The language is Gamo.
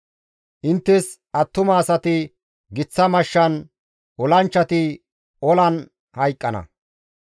Inttes attuma asati giththa mashshan, olanchchati olan hayqqana.